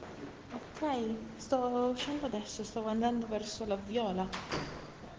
сто сорок